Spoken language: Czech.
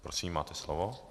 Prosím, máte slovo.